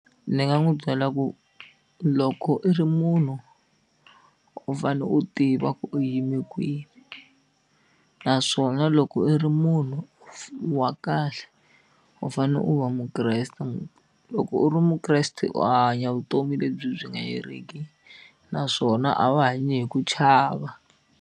Ni nga n'wi byela ku loko i ri munhu u fane u tiva ku u yime kwihi naswona loko i ri munhu wa kahle u fane u va Mukreste loko u ri Mukreste u hanya vutomi lebyi byi nga heriki naswona a va hanyi hi ku chava.